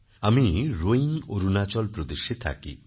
আমি রোইং অরুণাচল প্রদেশেথাকি